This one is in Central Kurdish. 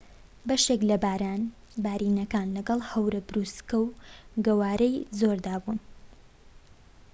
بەشێک لە باران بارینەکان لەگەڵ هەورە بروسکە و گەوارەی زۆردا بوون